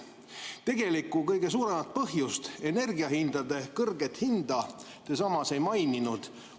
Tegelikku, kõige suuremat põhjust, kõrgeid energiahindu, te samas ei maininud.